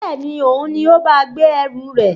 Bẹ́ẹ̀ni, Òun ni ó bá ọ gbé ẹrù rẹ